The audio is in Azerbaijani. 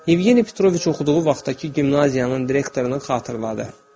Yevgeni Petroviç oxuduğu vaxtdakı gimnaziyanın direktorunu xatırladı.